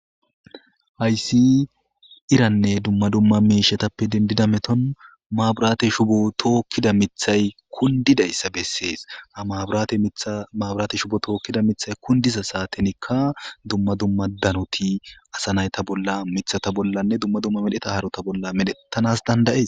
Ayssi iranne dumma dumma meshetappe dendida meton maabiraate shubo tookkida mithay kundidayssa bessees ha maaburaate shubo tookkida mithay kundiza saatenikka dumma dumma danoti asa nayta bolla mithata bollanne dumma dumma medheta harota bolla medhettanas dandayes